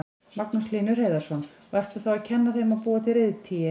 Magnús Hlynur Hreiðarsson: Og ertu þá að kenna þeim að búa til reiðtygi?